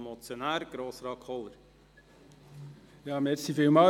Der Motionär, Grossrat Kohler, hat nochmals das Wort.